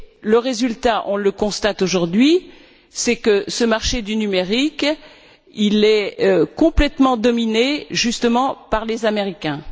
Le résultat, on le constate aujourd'hui, est que ce marché du numérique est complètement dominé, justement, par les Américains.